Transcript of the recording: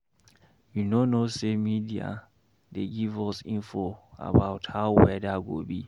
You no know sey media dey give us info about how weather go be.